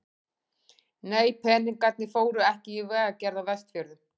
Nei, peningarnir fóru ekki í vegagerð á Vestfjörðum.